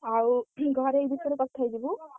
ଆଉ ଘରେ ଏ ବିଷୟରେ କଥା ହେଇଯିବୁ।